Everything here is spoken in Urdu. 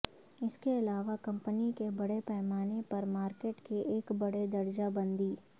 اس کے علاوہ کمپنی کے بڑے پیمانے پر مارکیٹ کے ایک بڑے درجہ بندی